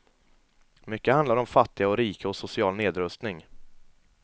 Mycket handlar om fattiga och rika och social nedrustning.